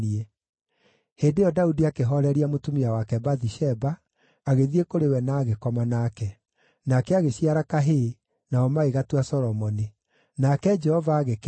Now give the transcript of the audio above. Hĩndĩ ĩyo Daudi akĩhooreria mũtumia wake Bathisheba, agĩthiĩ kũrĩ we na agĩkoma nake. Nake agĩciara kahĩĩ; nao magĩgatua Solomoni. Nake Jehova agĩkenda;